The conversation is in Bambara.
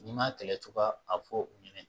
N'i ma kɛlɛ cogoya a fɔ u ɲɛnɛ